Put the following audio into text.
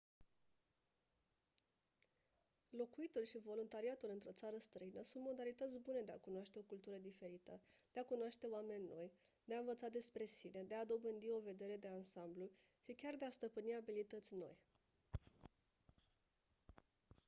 locuitul și voluntariatul într-o țară străină sunt modalități bune de a cunoaște o cultură diferită de a cunoaște oameni noi de a învăța despre sine de a dobândi o vedere de ansamblu și chiar de a stăpâni abilități noi